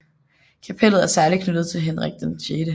Kapellet er særlig knyttet til Henrik VI